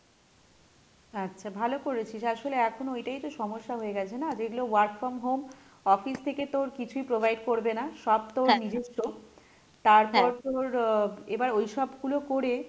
আচ্ছা ভালো করেছিস আসলে এখন ওইটাই তো সমস্যা হয়ে গেছে না যেগুলো work from home, office থেকে তোর কিছুই provide করবে না সব তোর নিজস্ব, তারপর তোর আহ এবার ওইসবগুলো করে,